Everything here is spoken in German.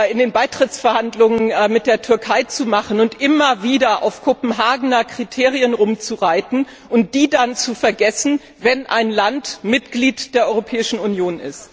in den Beitrittsverhandlungen mit der Türkei zu machen und immer wieder auf den Kopenhagener Kriterien herumzureiten und diese dann zu vergessen, wenn ein Land Mitglied der Europäischen Union ist.